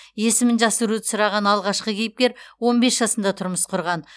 есімін жасыруды сұраған алғашқы кейіпкер он бес жасында тұрмыс құрған